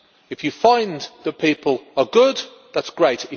If you find that people are good, that is great.